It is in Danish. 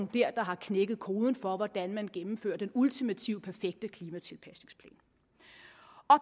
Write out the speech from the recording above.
der har knækket koden for hvordan man gennemfører den ultimative perfekte klimatilpasningsplan